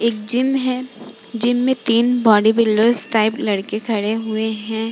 एक जीम है | जीम में तीन बॉडीबिल्डर्स टाइप लड़के खड़े हुए हैं।